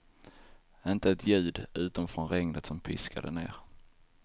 Inte ett ljud, utom från regnet som piskade ner.